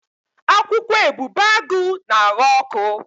Akwụkwọ ebubeagụ na-aghọ ọkụ.